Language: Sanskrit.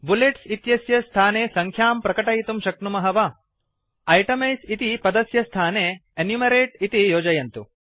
बुलेट्स इत्यस्य स्थाने सङ्ख्यां प्रकटयितुं शक्नुमः वा इटेमाइज़ इति पदस्य स्थाने एनुमेरते इति योजयन्तु